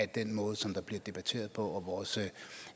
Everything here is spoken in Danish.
den måde som der bliver debatteret på og vores